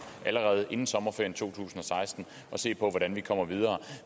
allerede inden sommerferien to tusind og seksten og se på hvordan vi kommer videre